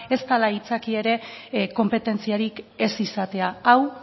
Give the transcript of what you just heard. ez dela aitzakia ere konpetentziarik ez izatea hau